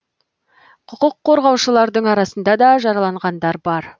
құқық қорғаушылардың арасында да жараланғандар бар